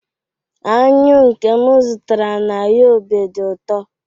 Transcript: anyụ nke m zụtara na yobe dị ụtọ